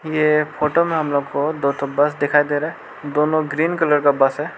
ये फोटो मे हमलोग को दो ठो बस दिखाई दे रहा है दोनों ग्रीन कलर का बस है।